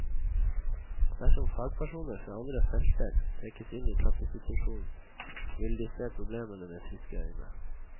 Dersom fagpersoner fra andre felter trekkes inn i klassesituasjonen, vil de se problemene med friske øyne.